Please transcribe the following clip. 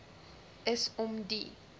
is om die